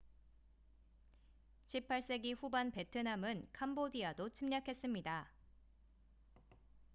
18세기 후반 베트남은 캄보디아도 침략했습니다